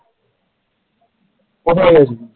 কোথায় গেছিলিস?